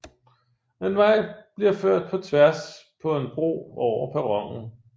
En vej bliver ført på tværs på en bro over perronen